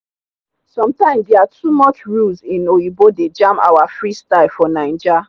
sometimes their too much rules in oyinbo dey jam our freestyle for naija